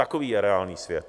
Takový je reálný svět.